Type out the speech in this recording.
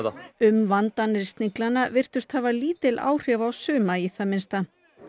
umvandanir Sniglanna virtust hafa lítil áhrif á suma í það minnsta